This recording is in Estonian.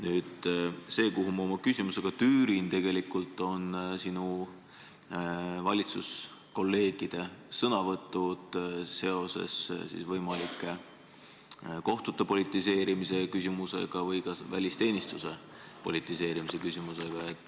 Aga ma tüürin oma küsimusega tegelikult sinu valitsuskolleegide sõnavõttude juurde seoses võimaliku kohtute politiseerimise või ka välisteenistuse politiseerimise küsimusega.